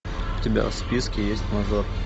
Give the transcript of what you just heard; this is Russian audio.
у тебя в списке есть мажор